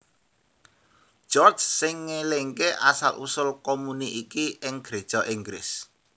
George sing ngélingaké asal usul komuni iki ing Gréja Inggris